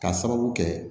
K'a sababu kɛ